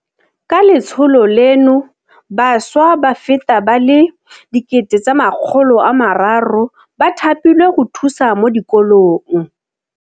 Ka letsholo leno bašwa ba feta ba le 300 000 ba thapilwe go thusa mo dikolong.